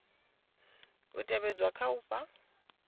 u tevhedzwa kha u fha